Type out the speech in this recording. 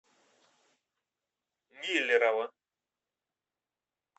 миллерово